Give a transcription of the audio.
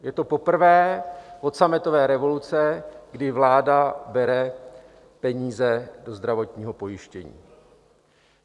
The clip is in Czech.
Je to poprvé od sametové revoluce, kdy vláda bere peníze ze zdravotního pojištění.